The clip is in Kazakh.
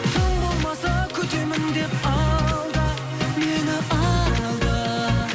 тым болмаса күтемін деп алда мені алда